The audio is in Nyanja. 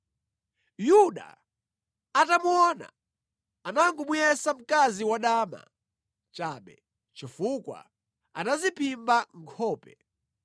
Yuda atamuona anangomuyesa mkazi wadama chabe, chifukwa anadziphimba nkhope.